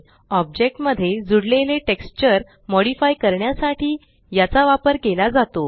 object मध्ये जुडलेले texture modify करण्यासाठी याचा वापर केला जातो